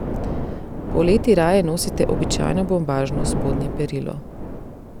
Poleti raje nosite običajno bombažno spodnje perilo.